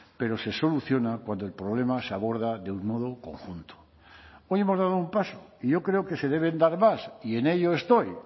pero se soluciona cuando el problema se aborda de un modo conjunto hoy hemos dado un paso y yo creo que se deben dar más y en ello estoy